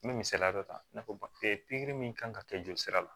N bɛ misaliya dɔ ta i n'a fɔ pikiri min kan ka kɛ joli sira la